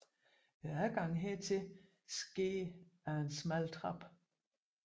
Adgangen hertil sker ad en smal trappe